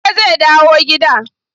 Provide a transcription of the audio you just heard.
Yaushe zai dawo gida?